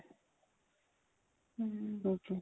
hm okay